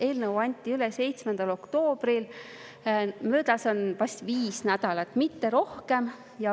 Eelnõu anti üle 7. oktoobril, seega on möödas on vast viis nädalat, mitte rohkem.